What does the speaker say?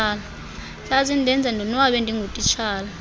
zazindenza ndonwabe ndingutitshala